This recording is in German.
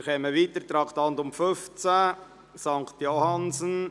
Wir kommen zum Traktandum 15 betreffend die Justizvollzugsanstalt St. Johannsen.